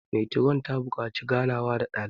metron ta buƙaci ganawa da dalibai